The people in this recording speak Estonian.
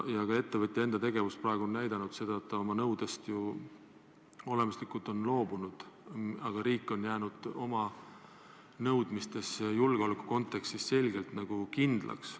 Ettevõtja enda tegevus on näidanud, et ta on oma nõudest loobunud, riik aga on jäänud oma nõudmistes julgeoleku kontekstis selgelt kindlaks.